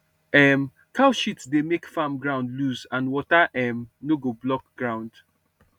um cow shit dey make farm ground loose and water um no go block ground